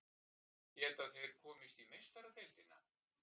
Geta þeir komist í Meistaradeildina?